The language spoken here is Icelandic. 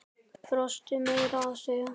Brostu meira að segja.